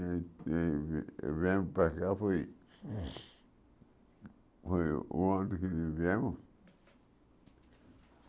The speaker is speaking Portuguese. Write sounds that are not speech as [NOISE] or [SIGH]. E e e viemos para cá foi... [SNIFFS] Foi o ano que. [UNINTELLIGIBLE]